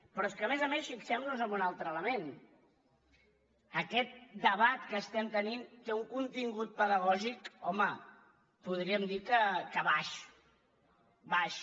però és que a més a més fixemnos en un altre element aquest debat que estem tenint té un contingut pedagògic home podríem dir que baix baix